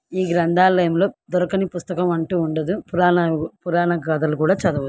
ఈ గ్రంధాలయములో దొరకని పుస్తకమంటూ ఉండదు. పురాణ పురాణగాధలు కూడా చదవవచ్చు.